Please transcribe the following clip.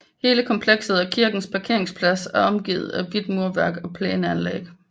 Hele komplekset og kirkens parkeringsplads er omgivet af hvidt murværk og plæneanlæg